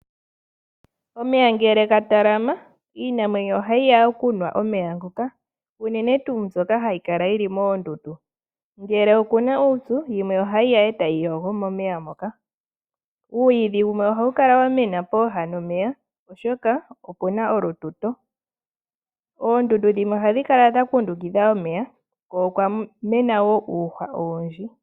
Omeya ngele ga talama iinamwenyo ohayi ya okunwa omeya ngoka uunene tuu mbyoka hayi kala yili oondundu, ngele okuna uupyu yimwe ohayi ya etayi yogo momeya moka. Omwiidhi gumwe ohagu kala gwa mena pooha nomeya, oshoka opuna olututo. Oondundu dhimwe ohadhi kala dha kundukidha omeya ko okwamena wo uumeno owundji.